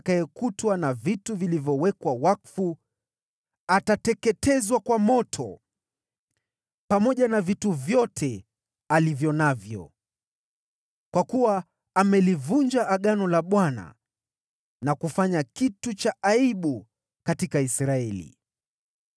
Yule atakayekutwa na vitu vilivyowekwa wakfu, atateketezwa kwa moto, pamoja na vitu vyote alivyo navyo. Kwa kuwa amelivunja agano la Bwana na kufanya kitu cha aibu katika Israeli!’ ”